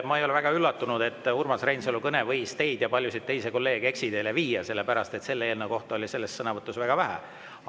Ma ei ole väga üllatunud, et Urmas Reinsalu kõne võis teid ja paljusid teisi kolleege eksiteele viia, sellepärast et selle eelnõu kohta oli sõnavõtus väga vähe.